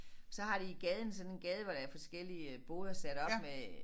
Så har de i gaden sådan en gade hvor der er forskellige boder sat op med